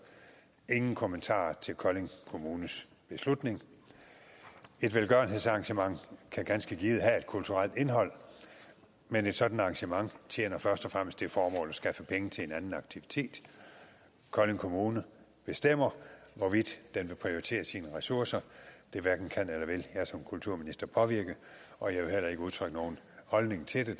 ingen kommentar til kolding kommunes beslutning et velgørenhedsarrangement kan ganske givet have et kulturelt indhold men et sådant arrangement tjener først og fremmest det formål at skaffe penge til en anden aktivitet kolding kommune bestemmer hvordan den vil prioritere sine ressourcer det hverken kan eller vil jeg som kulturminister påvirke og jeg vil heller ikke udtrykke nogen holdning til det